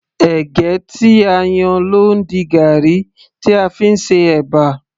ẹ̀gẹ́ tí a yan ló ń di garri tí a fí ń ṣe ẹ̀bà